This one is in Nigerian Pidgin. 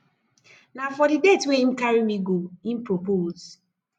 na for di date wey im carry me go im propose